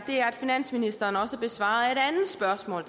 er at finansministeren også besvarede et andet spørgsmål